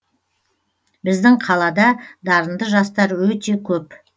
біздің қалада дарынды жастар өте көп